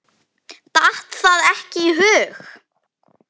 Datt það ekki í hug.